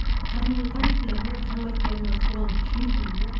танитындарым бар танымайтындарым бар соған күйетінмін де